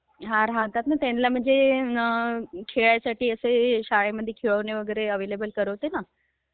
हा राहतात ना, त्यांला म्हणजे ते असं शाळेमद्ये खेळणी वगैरे ऍव्हेलेबल करवते ना...